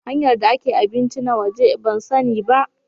Hanyar da ake abinci na waje ban san ni ba.